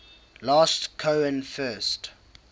last cohen first